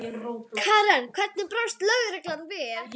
Karen: En hvernig brást lögreglan við?